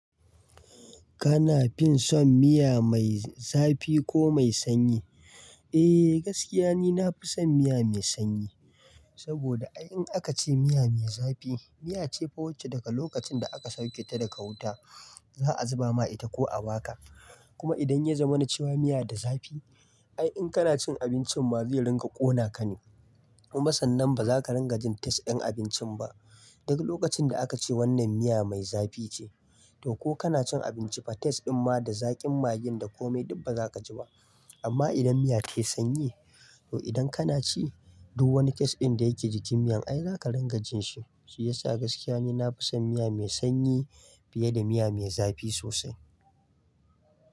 Kana fin son miya mai zafi ko mai sanyi? Eh gaskiya ni nafi son miya mai sanyi, saboda ai in aka ce miya mai zafi, miya ce fa wacce daga lokacin da aka sauke ta daga wuta za a zuba ma ita ko a baka. Kuma idan ya zama na cewa miya da zafi, ai in kana cin abincin ma zai ringa ƙona ka ne. Kuma sannan ba za ka rangajin taste ɗin abincin ba, duk lokacin da aka ce wannan miya mai zafi ce. To ko kana cin abinci ma taste din ma da zaƙin maggin da komai duk ba za ka ji ba. Amma idan miya ta i sanyi, to idan kana ci duk wani taste ɗin da yake jikin miyan ai za ka ringa jin shi. Shi ya sa gaskiya ni nafi son miya mai sanyi fiye da miya mai zafi sosai.